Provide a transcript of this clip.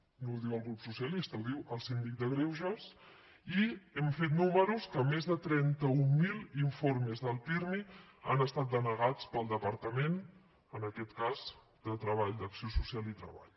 no ho diu el grup socialista ho diu el síndic de greuges i hem fet números que més de trenta un mil informes del pirmi han estat denegats pel departament en aquest cas d’acció social i treball